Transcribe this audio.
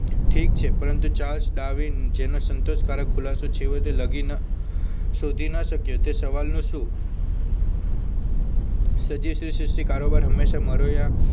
ઠીક છે પરંતુ ચાર્જ ડાર્વિન જેનો સંતોષકારક ખુલાસો છેવટે લગીન શોધી ન શક્યો તે સવાલનો શું સજેશનથી કારોબાર હંમેશા મરો યા